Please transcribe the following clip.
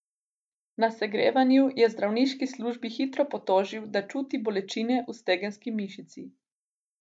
Na segrevanju je zdravniški službi hitro potožil, da čuti bolečine v stegenski mišici.